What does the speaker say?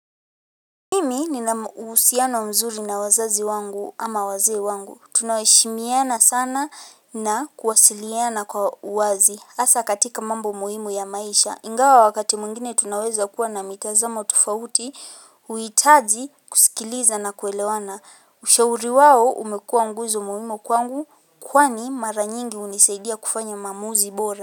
Mimi ninamu uhusiano mzuri na wazazi wangu ama waze ewangu tunaheshimiana sana na kuwasiliana kwa wazi hasa katika mambo muhimu ya maisha ingawa wakati mwingine tunawezakuwa na mitazamo tofauti huihitazji kusikiliza na kuelewana ushauri wao umekuwa nguzo muhimu kwangu kwani mara nyingi unisaidia kufanya maamuzi bora.